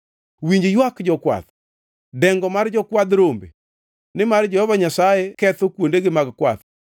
Winj ywak jokwath, dengo mar jokwadh rombe, nimar Jehova Nyasaye ketho kuondegi mag kwath.